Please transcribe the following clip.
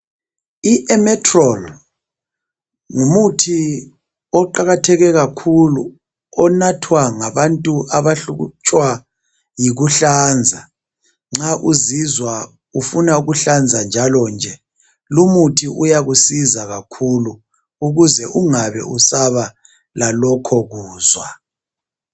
I emetrol ngumuthi oqakatheke kakhulu onathwa ngabantu abahlutshwa yikunhlanza nxa uzizwa ufuna ukuhlanza njalonje. Lumuthi uyakusiza kakhulu ukuze ungabe usaba lalokho kuzwa